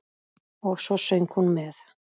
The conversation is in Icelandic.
Og svo söng hún með.